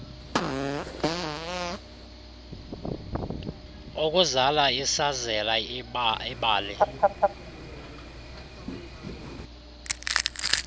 ukuzala isazela ibalai